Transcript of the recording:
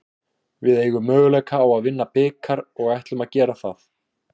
Við eigum möguleika á að vinna bikar og ætlum að gera það.